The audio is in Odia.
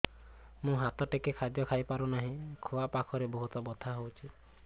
ମୁ ହାତ ଟେକି ଖାଦ୍ୟ ଖାଇପାରୁନାହିଁ ଖୁଆ ପାଖରେ ବହୁତ ବଥା ହଉଚି